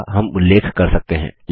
जिसका हम उल्लेख कर सकते हैं